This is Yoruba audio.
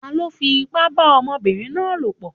Taló fipá bá ọmọbìnrin náà lòpọ̀?